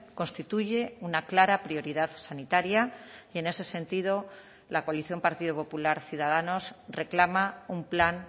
constituye una clara prioridad sanitaria y en ese sentido la coalición partido popular ciudadanos reclama un plan